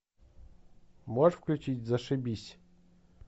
можешь включить зашибись